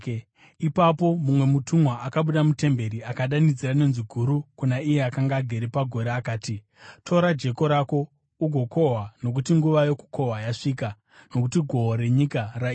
Ipapo mumwe mutumwa akabuda mutemberi akadanidzira nenzwi guru kuna iye akanga agere pagore akati, “Tora jeko rako ugokohwa, nokuti nguva yokukohwa yasvika, nokuti gohwo renyika raibva.”